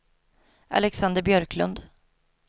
Alexander Björklund